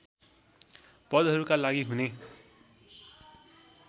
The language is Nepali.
पदहरूका लागि हुने